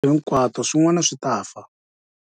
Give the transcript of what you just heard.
Hinkwato swin'wana swi ta fa.